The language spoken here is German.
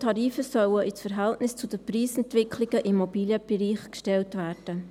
Die Tarife sollen ins Verhältnis zu den Preisentwicklungen im Immobilienbereich gestellt werden.